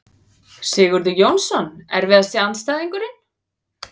Sigurður Jónsson Erfiðasti andstæðingur?